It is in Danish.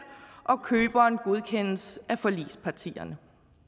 og køberen godkendes af forligspartierne